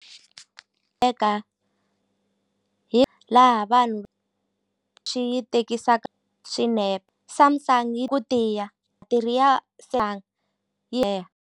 Eka hi laha vanhu swi yi tekisaka swinepe Samsung yi ku tiya ya .